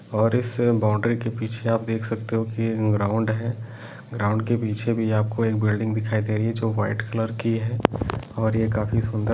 और इस बाउंड्री के पीछे आप देख सकते हो कि एक ग्राउंड है ग्राउंड के पीछे भी आपको एक बिल्डिंग दिखाई दे रही है जो वाइट कलर की है और ये काफी सुन्दर--